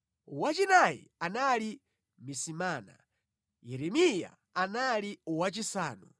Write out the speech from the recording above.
wachinayi anali Misimana, Yeremiya anali wachisanu,